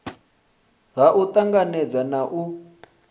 ha u tanganedza na u